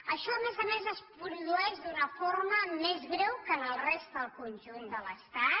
això a més a més es produeix d’una forma més greu que a la resta del conjunt de l’estat